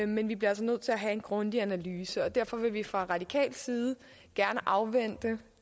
men vi bliver altså nødt til at have en grundig analyse og derfor vil vi fra radikal side gerne afvente